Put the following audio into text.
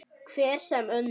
Hver sem önnur.